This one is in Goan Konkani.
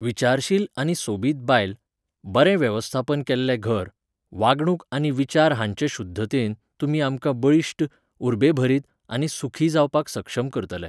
विचारशील आनी सोबीत बायल, बरें वेवस्थापन केल्लें घर, वागणूक आनी विचार हांचे शुध्दतेन, तुमी आमकां बळिश्ट, उर्बेभरीत आनी सुखी जावपाक सक्षम करतले.